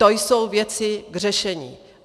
To jsou věci k řešení.